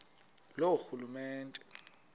loorhulumente